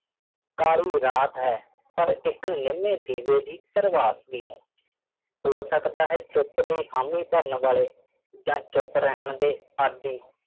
ਕਾਲੀ ਰਾਤ ਹੈ ਪਰ ਇੱਕ ਨਿੰਮੇ ਦੀਵੇ ਦੀ ਪ੍ਰਭਾਤ ਵੀ ਹੈ ਹੋ ਸਕਦਾ ਹੈ ਚੁੱਪ ਦੀ ਹਾਮੀ ਭਰਨ ਵਾਲੇ ਜਾਂ ਚੁੱਪ ਰਹਿਣ ਦੇ ਆਦੀ